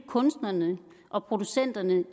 kunstnerne og producenterne